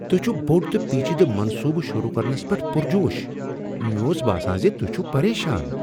تُہۍ چھو بوٚڈ تہٕ پیچیدٕ منصوٗبہ شروٗع کرنس پیٹھ پرجوش؟ مےٚ اوس باسان زِ تُہۍ چُھو پریشان۔